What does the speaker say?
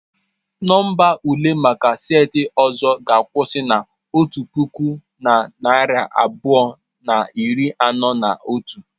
Nọmba ule maka seti ọzọ ga-akwụsị na otu puku na narị abụọ na iri anọ na otu.